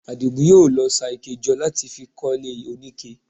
Àdìgún yóò lọ ṣa ike jọ láti fi kọ́lé oníke